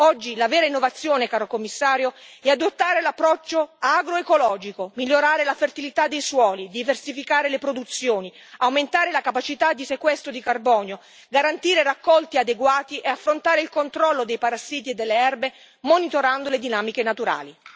Oggi la vera innovazione, caro Commissario, è adottare l'approccio agroecologico, migliorare la fertilità dei suoli, diversificare le produzioni, aumentare la capacità di sequestro di carbonio, garantire raccolti adeguati e affrontare il controllo dei parassiti e delle erbe, monitorando le dinamiche naturali.